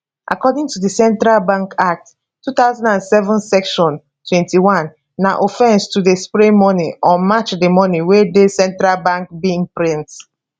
according to di central bank act 2007 section 21 na offence to dey spray money or match di money wey di central bank bin print